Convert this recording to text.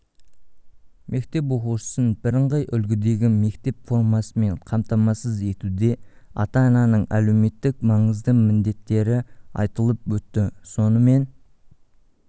мектеп оқушысын бірыңғай үлгідегі мектеп формасымен қамтамасыз етуде ата-ананың әлеуметтік маңызды міндеттері айтылып өтті сонымен